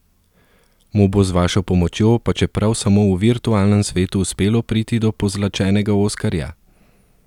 Mu bo z vašo pomočjo pa čeprav samo v virtualnem svetu uspelo priti do pozlačenega oskarja?